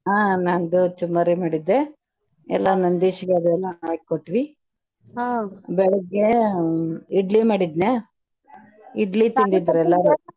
ಹಾ ನಾ ಜೊಳ್ಳ ಚುರ್ಮರಿ ಮಾಡಿದ್ದೆ ಎಲ್ಲಾ ನಂದೀಶಗದುನು ಹಾಕಿ ಕೊಟ್ವಿ ಬೆಳಿಗ್ಗೆ ಇಡ್ಲಿ ಮಾಡಿದ್ನ್ಯಾ ಇಡ್ಲಿ ತಿಂದಿದ್ರ ಎಲ್ಲಾರು .